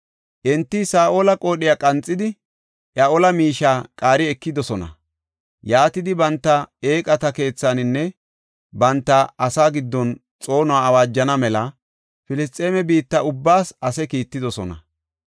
Enti Saa7ola qoodhiya qanxidi iya ola miishiya qaari ekidosona. Yaatidi banta eeqata keethaninne banta asaa giddon xoonuwa awaajana mela Filisxeeme biitta ubbaas ase kiittidosona.